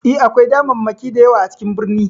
E, akwai damammaki da yawa a cikin birni.